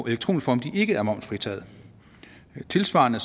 elektronisk form ikke er momsfritaget tilsvarende